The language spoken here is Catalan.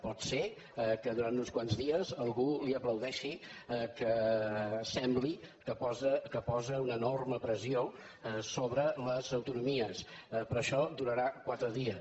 pot ser que durant uns quants dies algú li aplaudeixi que sembli que posa una enorme pressió sobre les autonomies però això durarà quatre dies